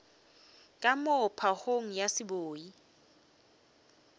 ka moo phagong ya seboi